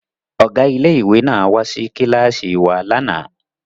Ọ̀gá ilé ìwé náà wá sí kíláàsì wa lánàá